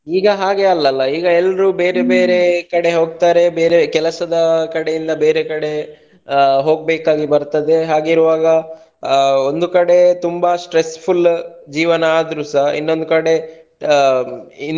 ಈಗ ಹಾಗೆ ಅಲ್ಲಲ್ಲ ಈಗ ಎಲ್ಲರು ಬೇರೆ ಕಡೆ ಹೋಗ್ತಾರೆ ಬೇರೆ ಕೆಲಸದ ಕಡೆಯಿಂದ ಬೇರೆ ಕಡೆ ಆ ಹೋಗ್ಬೇಕಾ ಬರ್ತದೆ ಹಾಗಿರುವಾಗ ಆ ಒಂದು ಕಡೆ ತುಂಬಾ stressful ಜೀವನ ಆದರೂಸ ಇನ್ನೊಂದು ಕಡೆ ಆ.